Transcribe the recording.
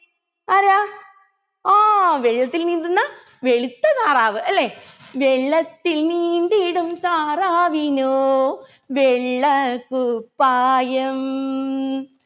ആരാ ആ വെള്ളത്തിൽ നീന്തുന്ന വെളുത്ത താറാവ് അല്ലെ വെള്ളത്തിൽ നീന്തിടും താറാവിനോ വെള്ളക്കുപ്പായം